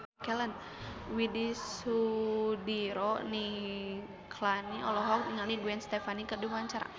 Widy Soediro Nichlany olohok ningali Gwen Stefani keur diwawancara